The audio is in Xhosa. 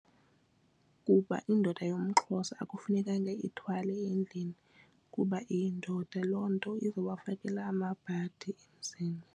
Kuba indoda yomXhosa akufunekanga ithwale endlini kuba iyindoda loo nto iza kubafakela amabhadi emzini.